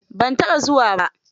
Ban taɓa zuwa ba.